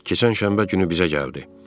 Keçən şənbə günü bizə gəldi.